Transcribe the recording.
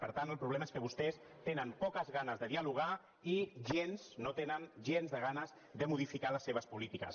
per tant el problema és que vostès tenen poques ganes de dialogar i gens no tenen gens de ganes de modificar les seves polítiques